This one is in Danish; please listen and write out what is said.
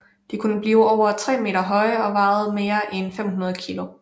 De kunne blive over 3 meter høje og veje mere end 500 kilo